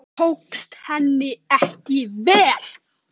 Það tókst henni ekki